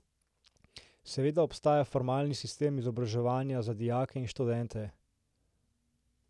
Seveda obstaja formalni sistem izobraževanja za dijake in študente.